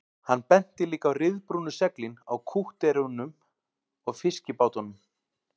Hann benti líka á ryðbrúnu seglin á kútterunum og fiskibátunum